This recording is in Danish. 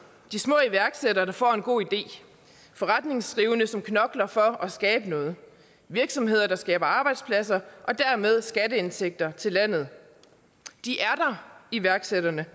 de små iværksættere der får en god idé forretningsdrivende som knokler for at skabe noget virksomheder der skaber arbejdspladser og dermed skatteindtægter til landet iværksætterne